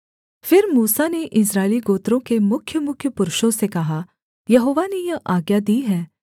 फिर मूसा ने इस्राएली गोत्रों के मुख्यमुख्य पुरुषों से कहा यहोवा ने यह आज्ञा दी है